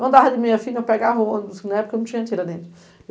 Eu andava de meia-fina e eu pegava o ônibus, que na época não tinha tira dentro.